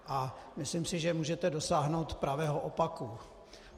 A myslím si, že můžete dosáhnout pravého opaku.